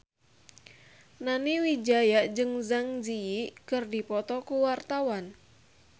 Nani Wijaya jeung Zang Zi Yi keur dipoto ku wartawan